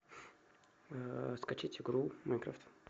скачать игру майнкрафт